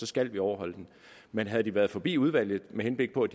skal vi overholde den men havde de været forbi udvalget med henblik på at